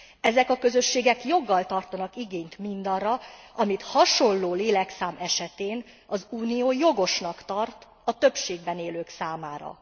Ezek a közösségek joggal tartanak igényt mindarra, amit hasonló lélekszám esetén az Unió jogosnak tart a többségben élők számára.